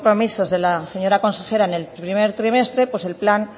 compromisos de la señora consejera en el primer trimestre pues el plan